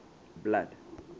blood